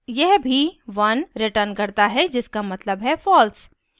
यह भी one returns करता है जिसका मतलब है false